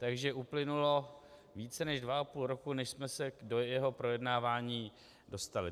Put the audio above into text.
Takže uplynulo více než dva a půl roku, než jsme se do jeho projednávání dostali.